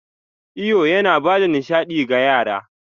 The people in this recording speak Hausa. Iyo yana ba da nishaɗi ga yara.